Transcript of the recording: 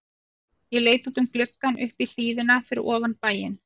Ég leit út um gluggann upp í hlíðina fyrir ofan bæinn.